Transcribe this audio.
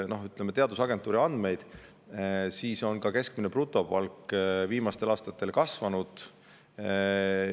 Teadusagentuuri andmetel on keskmine brutopalk viimastel aastatel kasvanud.